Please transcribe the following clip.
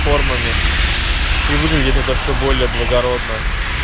формами и выглядит это все более благородно